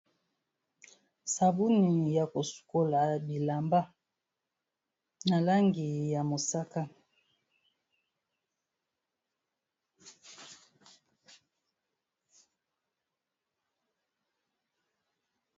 Sabuni ya kosukola bilamba na langi ya mosaka.